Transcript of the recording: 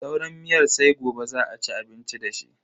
Sauran miyar sai gobe za a ci abinci dashi.